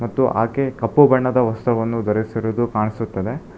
ಮತ್ತು ಆಕೆ ಕಪ್ಪು ಬಣ್ಣದ ವಸ್ತ್ರವನ್ನು ದರಿಸಿರುವುದು ಕಾಣಿಸುತ್ತದೆ.